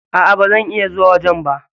A,a bazan iya zuwa wajen ba.